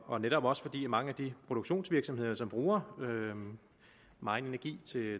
og netop også fordi mange af de produktionsvirksomheder som bruger megen energi